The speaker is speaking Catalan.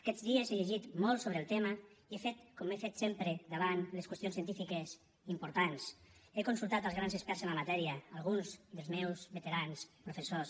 aquests dies he llegit molt sobre el tema i he fet com he fet sempre davant les qüestions científiques importants he consultat els grans experts en la matèria alguns dels meus veterans professors